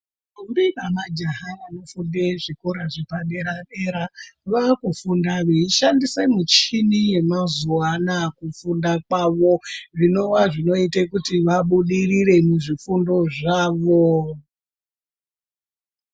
Ndombi namajaha vanofunde kuzvikora zvepadera-dera vakufunda veishandisa muchini yemazuwa ana mukufunda kwavo zvinova zvinoita kuti vabudirire mukufunda zvavo.